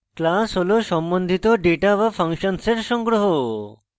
class হল সম্বন্ধিত data বা functions এর সংগ্রহ